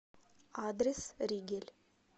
адрес ригель